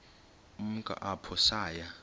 ukumka apho saya